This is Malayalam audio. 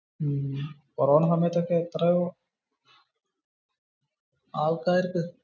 കൊറോണ സമയത് ഒക്കെ എത്രയോ ആൾക്കാർക്കു